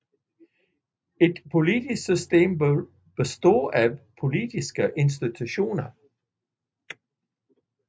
Et politisk system består af politiske institutioner